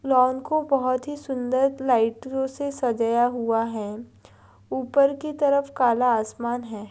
लाउन को बहुत ही सुंदर लाइटों से सजाया हुआ है ऊपर की तरफ काला आसमान है।